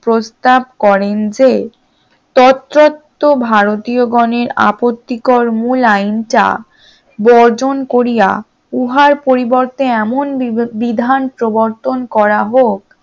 প্রস্তাব করেন যে ততরত্ত ভারতীয় গনের আপত্তিকর মূল আইনটা বর্জন করিয়া উহার পরিবর্তে এমন বিধান প্রবর্তন করা হোক